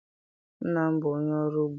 Nna m bụ onye ọrụ ugbo.